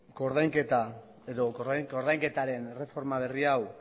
koordainketaren erreforma berri hau